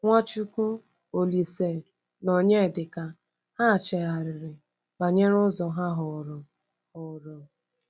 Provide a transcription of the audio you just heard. NwaChukwu, Olísè, na Onyedika—ha chegharịrị banyere ụzọ ha họrọ? họrọ?